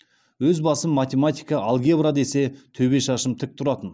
өз басым математика алгебра десе төбе шашым тік тұратын